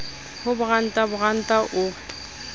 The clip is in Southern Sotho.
ho boranta boranta o re